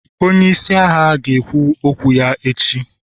onye isi agha, ga-ekwu okwu ya echi